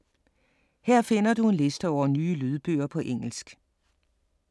Her finder du en liste over nye lydbøger på engelsk.